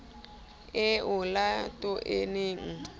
e olato e ne e